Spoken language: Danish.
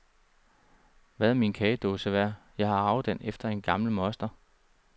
Hvad er min kagedåse værd, jeg har arvet den efter en gammel moster.